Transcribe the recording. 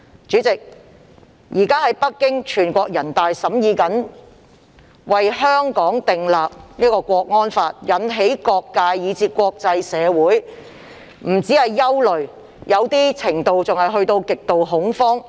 主席，全國人大正在北京審議為香港訂立國安法，引起各界，以至國際社會的憂慮甚至極度恐慌。